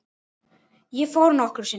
Ég fór nokkrum sinnum.